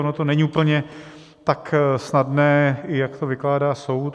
Ono to není úplně tak snadné, jak to vykládá soud.